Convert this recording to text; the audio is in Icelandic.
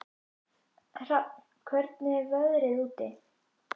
Hrafn, hvernig er veðrið úti?